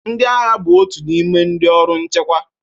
Ndị agha bụ otu n'ime ndị ọrụ nchekwa